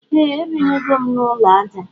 Ee ebinugom na ulọ aja